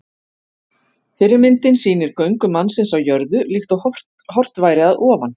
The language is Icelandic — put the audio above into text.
Fyrri myndin sýnir göngu mannsins á jörðu, líkt og horft væri að ofan.